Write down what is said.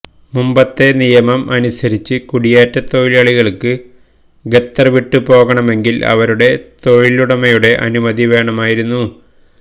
മുമ്പത്തെ നിയമം അനുസരിച്ച് കുടിയേറ്റ തൊഴിലാളികള്ക്ക് ഖത്തര് വിട്ടു പോകണമെങ്കില് അവരുടെ തൊഴിലുടമയുടെ അനുമതി വേണമായിരുന്നു